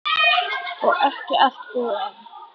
Og ekki allt búið enn.